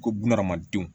Ko bunahadamadenw